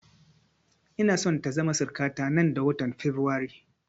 Ina so ta zama suruka ta nan da watan fabrairu